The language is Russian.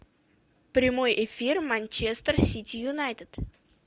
прямой эфир манчестер сити юнайтед